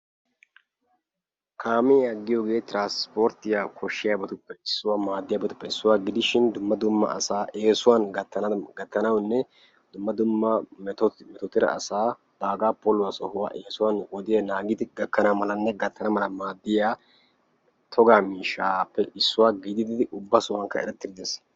Kaamiya giyoge tiranspporttiyawu koshiyabatuppe issuwa; maadiyabatuppe issuwa gidishin dumma dumma asaa eesuwan gattanawune dumma dumma meto metottida asa bagga poluwa sohuwa eesuwan wodiya naagidi gakkanamalane gattanamala maadiya togga miishshappe issuwa gididi ubba sohuwankka eretti-uttiis.